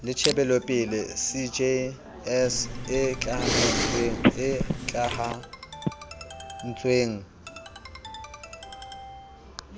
le tjhebelopele cjs e tlamahantsweng